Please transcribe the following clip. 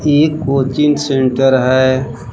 एक coaching centre है।